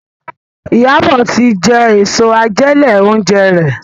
Iyabo tí jé Èso àjẹlé-oúnjẹ rẹ.